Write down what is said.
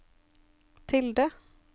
tilde